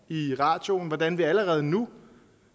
i radioen hvordan vi allerede nu